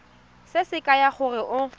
se se kaya gore o